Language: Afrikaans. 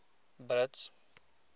brits